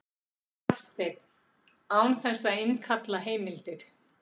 Hafsteinn: Án þess að innkalla heimildir?